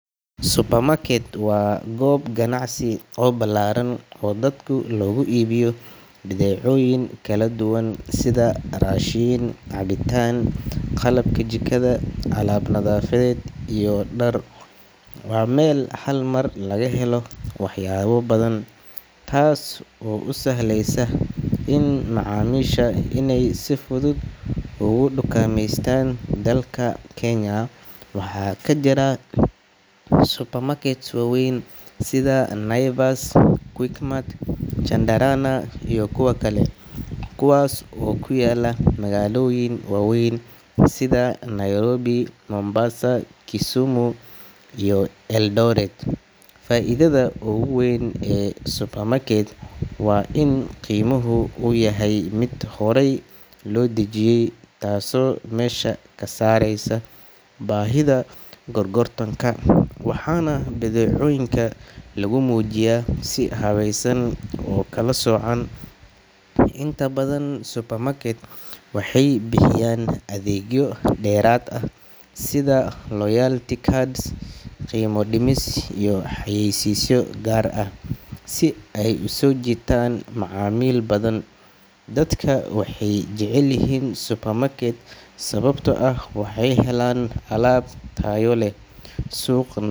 Supermarket waa goob ganacsi oo ballaaran oo dadka loogu iibiyo badeecooyin kala duwan sida raashin, cabitaan, qalabka jikada, alaab nadaafadeed, iyo dhar. Waa meel hal mar laga helo waxyaabo badan, taas oo u sahleysa macaamiisha inay si fudud uga dukaameystaan. Dalka Kenya waxaa ka jira supermarkets waaweyn sida Naivas, Quickmart, Chandarana iyo kuwo kale, kuwaas oo ku yaalla magaalooyin waaweyn sida Nairobi, Mombasa, Kisumu iyo Eldoret. Faa’iidada ugu weyn ee supermarket waa in qiimuhu uu yahay mid horay loo dejiyay, taasoo meesha ka saaraysa baahida gorgortanka, waxaana badeecooyinka lagu muujiyaa si habaysan oo kala soocan. Inta badan supermarket waxay bixiyaan adeegyo dheeraad ah sida loyalty cards, qiimo dhimis iyo xayeysiisyo gaar ah, si ay u soo jiitaan macaamiil badan. Dadka waxay jecel yihiin supermarket sababtoo ah waxay helaan alaab tayo leh, suuq.